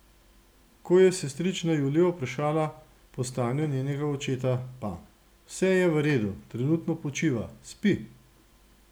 Ko je sestrična Julijo vprašala po stanju njenega očeta, pa: "Vse je v redu, trenutno počiva, spi.